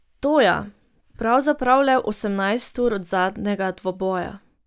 To ja pravzaprav le osemnajst ur od zadnjega dvoboja.